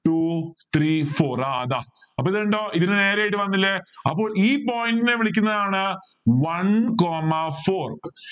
two three four ആഹ് അതാ അപ്പോ ഇത് കണ്ടോ ഇതിനെ നേരെയായിട്ട് വന്നില്ലേ അപ്പോൾ ഈ point നെ വിളിക്കുന്ന ആണ് one coma four